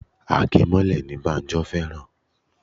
Agemole ni Banjo fẹ́ràn